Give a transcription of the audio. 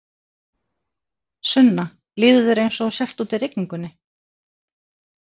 Sunna: Líður þér eins og þú sért úti í rigningunni?